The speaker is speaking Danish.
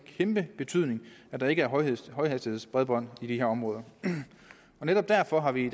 kæmpe betydning at der ikke er højhastighedsbredbånd i de her områder netop derfor har vi